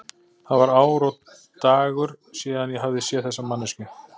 Það var ár og dagur síðan ég hafði séð þessa manneskju.